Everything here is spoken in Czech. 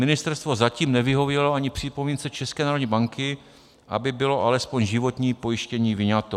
Ministerstvo zatím nevyhovělo ani připomínce České národní banky, aby bylo alespoň životní pojištění vyňato.